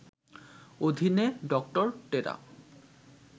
অধীনে ডক্টর টেরা